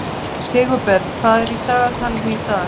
Sigurberg, hvað er í dagatalinu í dag?